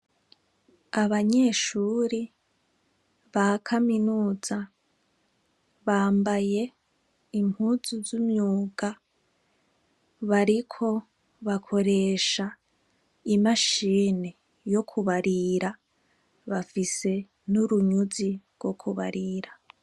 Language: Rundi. Abanyeshure ba kaminuza bambaye impuzu z' imyuga, bariko bakoresha imashini yo kubarura, bafise n' urunyuzi rwo kubarira.